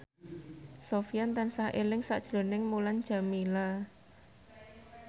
Sofyan tansah eling sakjroning Mulan Jameela